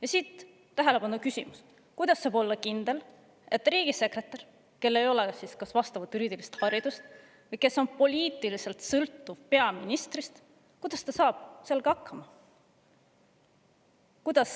Ja siit tähelepanuküsimus: kuidas saab olla kindel, et riigisekretär, kel ei ole juriidilist haridust või kes on poliitiliselt sõltuv peaministrist, saab sellega hakkama?